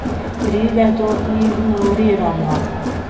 Pride do ignoriranja.